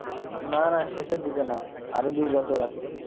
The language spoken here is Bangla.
না না শেষের দিকে না আরো দুই বছর আছে।